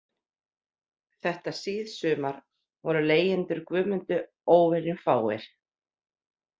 Þetta síðsumar voru leigjendur Guðmundu óvenjufáir